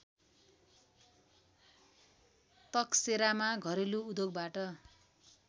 तकसेरामा घरेलु उद्योगबाट